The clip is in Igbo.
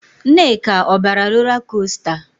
Nneka, ọ bara rola kosta?